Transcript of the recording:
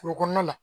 Furu kɔnɔna la